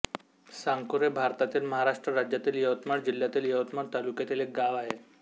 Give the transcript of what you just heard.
साकुर हे भारतातील महाराष्ट्र राज्यातील यवतमाळ जिल्ह्यातील यवतमाळ तालुक्यातील एक गाव आहे